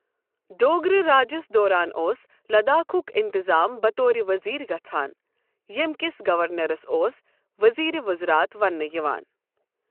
ڈوگرہ راجس دوران اوس لداخُک انتظام بطور وزیر گژھان، ییٚمۍ کِس گورنرَس اوس وزیرِ وزارات وننہٕ یِوان۔